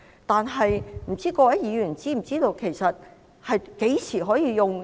但是，各位議員是否知道，何時可以使用？